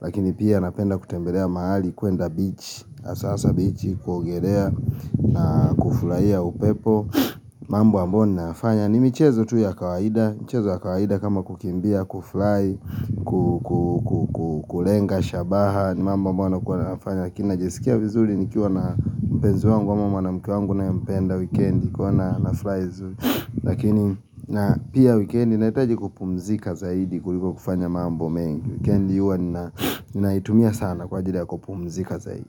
Lakini pia napenda kutembelea mahali kuenda beach, hasa beach Kuogeleea na kufurahia upepo mambo ambayo ninayafanya ni michezo tu ya kawaida michezo ya kawaida kama kukimbia, kufurahi Kulenga, shabaha ni mambo ambayo nakua nafanya lakini na jisikia vizuri nikiwa na mpenzi wangu ama mnanake wangu ninayempenda wikendi, kuwa furahi lakini na pia wikendi nahitaji kupumzika zaidi kuliko kufanya mambo mengi, wikendi huwa ninaitumia sana kwa ajili ya kupumzika zaidi.